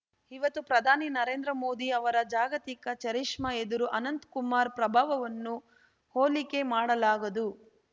ಇವತ್ತು ಪ್ರಧಾನಿ ನರೇಂದ್ರ ಮೋದಿ ಅವರ ಜಾಗತಿಕ ಚರಿಷ್ಮಾ ಎದುರು ಅನಂತ ಕುಮಾರ್‌ ಪ್ರಭಾವವನ್ನು ಹೋಲಿಕೆ ಮಾಡಲಾಗದು